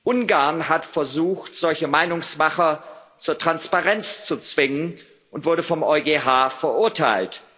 Ungarn hat versucht, solche Meinungsmacher zur Transparenz zu zwingen, und wurde vom EuGH verurteilt.